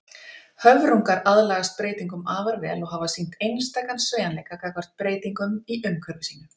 Höfrungar aðlagast breytingum afar vel og hafa sýnt einstakan sveigjanleika gagnvart breytingum í umhverfi sínu.